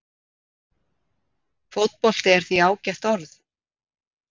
Fótbolti er því ágætt orð.